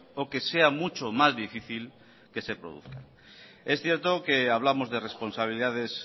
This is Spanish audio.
o que sea mucho más difícil que se produzcan es cierto que hablamos de responsabilidades